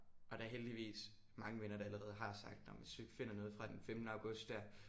Og der heldigvis mange venner der allerede har sagt jamen hvis du ikke finder noget fra den femtende august der